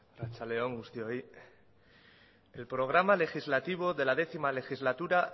arratsalde on guztioi el programa legislativo de la décimo legislatura